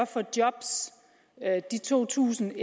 for job de to tusind